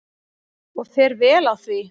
Og fer vel á því.